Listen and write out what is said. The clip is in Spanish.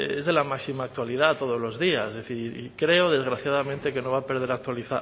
es de la máxima actualidad todos los días y creo desgraciadamente que no va a perder